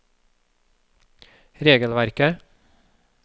regelverket